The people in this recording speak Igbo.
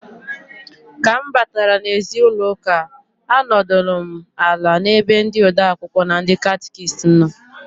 Ka m batara n'ezi ụlọụka anọdụlụ m ala n'ebe ndị ode akwụkwọ na ndị catịkist nọ.